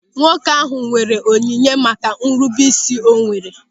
Nwoke ahụ nwere onyinye maka nrubeisi o nwere.